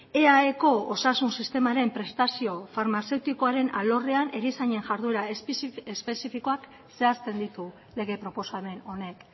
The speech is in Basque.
eaeko osasun sistemaren prestazio farmazeutikoaren alorrean erizainen jarduera espezifikoak zehazten ditu lege proposamen honek